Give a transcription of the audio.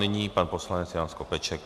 Nyní pan poslanec Jan Skopeček.